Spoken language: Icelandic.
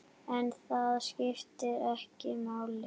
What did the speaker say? En það skiptir ekki máli.